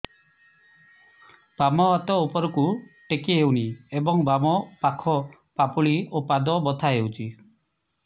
ବାମ ହାତ ଉପରକୁ ଟେକି ହଉନି ଏବଂ ବାମ ପାଖ ପାପୁଲି ଓ ପାଦ ବଥା ହଉଚି